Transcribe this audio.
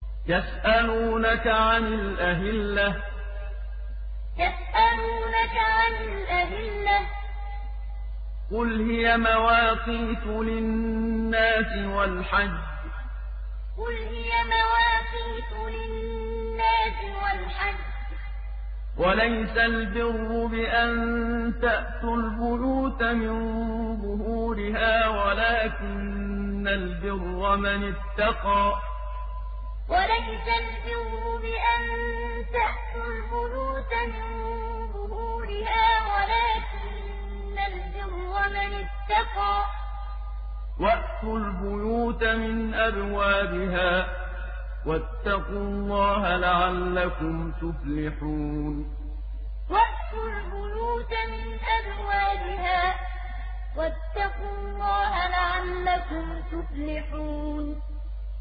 ۞ يَسْأَلُونَكَ عَنِ الْأَهِلَّةِ ۖ قُلْ هِيَ مَوَاقِيتُ لِلنَّاسِ وَالْحَجِّ ۗ وَلَيْسَ الْبِرُّ بِأَن تَأْتُوا الْبُيُوتَ مِن ظُهُورِهَا وَلَٰكِنَّ الْبِرَّ مَنِ اتَّقَىٰ ۗ وَأْتُوا الْبُيُوتَ مِنْ أَبْوَابِهَا ۚ وَاتَّقُوا اللَّهَ لَعَلَّكُمْ تُفْلِحُونَ ۞ يَسْأَلُونَكَ عَنِ الْأَهِلَّةِ ۖ قُلْ هِيَ مَوَاقِيتُ لِلنَّاسِ وَالْحَجِّ ۗ وَلَيْسَ الْبِرُّ بِأَن تَأْتُوا الْبُيُوتَ مِن ظُهُورِهَا وَلَٰكِنَّ الْبِرَّ مَنِ اتَّقَىٰ ۗ وَأْتُوا الْبُيُوتَ مِنْ أَبْوَابِهَا ۚ وَاتَّقُوا اللَّهَ لَعَلَّكُمْ تُفْلِحُونَ